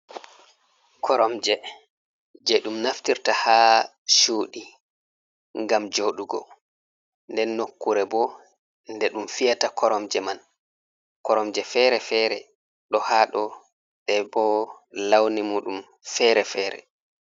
Koromje je ɗum naftirta ha cuɗi gam joɗugo nden nokkure bo nde ɗum fiyata koromje man, koromje fere-fere ɗo hado ɓe bo launi muɗum fere-fere.